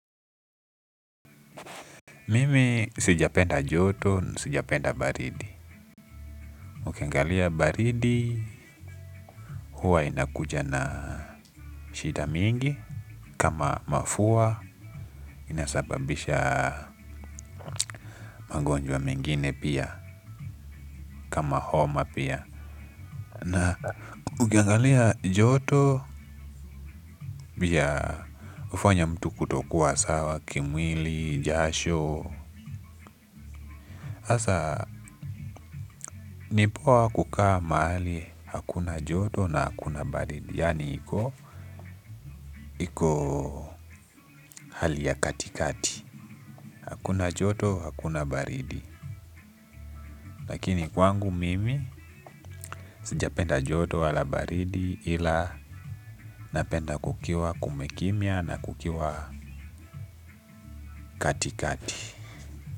Mimi sijapenda joto na sijapenda baridi. Ukiangalia baridi huwa inakuja na shida mingi. Kama mafua inasababisha magonjwa mengine pia kama homa pia. Na ukingalia joto pia hufanya mtu kutokuwa sawa kimwili jasho sasa ni poa kukaa mahali hakuna joto na hakuna baridi. Yani iko iko hali ya katikati. Kuna joto hakuna baridi. Lakini kwangu mimi sijapenda joto wala baridi ila napenda kukiwa kumekimya na kukiwa katikati.